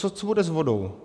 Co bude s vodou?